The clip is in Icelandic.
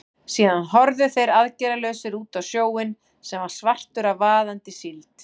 Síðan horfðu þeir aðgerðalausir út á sjóinn, sem var svartur af vaðandi síld.